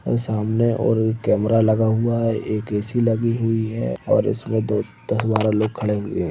अ सामने और एक कैमरा लगा हुआ है एक ए_सी लगी हुई है और इसमे दोस्त हमारा लोग खड़े हुए है।